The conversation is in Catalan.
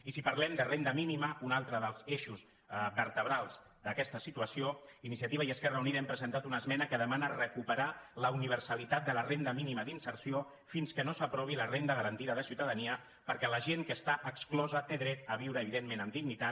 i si parlem de renda mínima un altre dels eixos vertebrals d’aquesta situació iniciativa i esquerra unida hem presentat una esmena que demana recuperar la universalitat de la renda mínima d’inserció fins que no s’aprovi la renda garantida de ciutadania perquè la gent que està exclosa té dret a viure evidentment amb dignitat